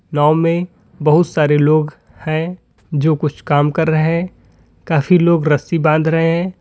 नाव में बहुत सारे लोग हैं जो कुछ काम कर रहे हैं काफी लोग रस्सी बांध रहे हैं।